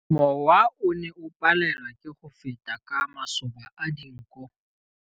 Mowa o ne o palelwa ke go feta ka masoba a dinko.